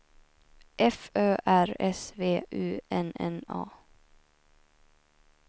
F Ö R S V U N N A